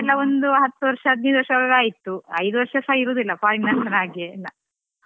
ಈಗಿನವ್ರ್ದೆಲ್ಲಾ ಒಂದು ಹತ್ತು ವರ್ಷ ಹದಿನೈದು ವರ್ಷವಾಗುವಾಗ ಆಯ್ತು ಐದು ವರ್ಷ ಸ ಇರುದಿಲ್ಲಾ ಹಾಗೆಲ್ಲ ಅಲ್ಲಾ.